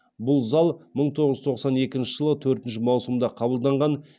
бұл зал мың тоғыз жүз тоқсан екінші жылы төртінші маусымда қабылданған